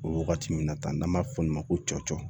O wagati min na tan n'an b'a fɔ o ma ko cɔcɔ